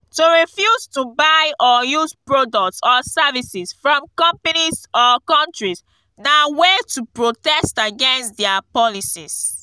to refuse to buy or use products or services from companies or countries na way to protest against their policies